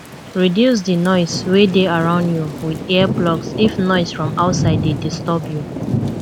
reduce di noise wey dey around you with ear plugs if noise from outside dey disturb you